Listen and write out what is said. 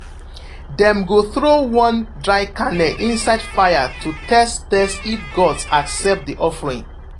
dem go throw one dry kernel inside fire to test test if gods accept the offering.